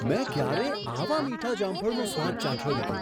મેં ક્યારેય આવાં મીઠાં જામફળનો સ્વાદ ચાખ્યો નથી!